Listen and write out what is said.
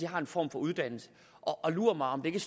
har en form for uddannelse og lur mig om det ikke